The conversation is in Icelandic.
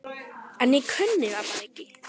En ég kunni það bara ekki.